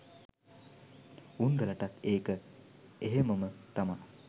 උන්දලටත් ඒක එහෙමම තමා.